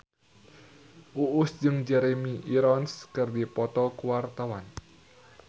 Uus jeung Jeremy Irons keur dipoto ku wartawan